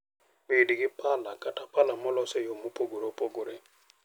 Bed gi pala kata pala molos e yo mopogore opogore.